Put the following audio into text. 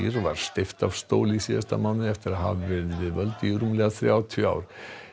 var steypt af stóli í síðasta mánuði eftir að hafa verið við völd í rúmlega þrjátíu ár